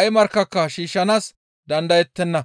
ay markkaka shiishshanaas dandayettenna.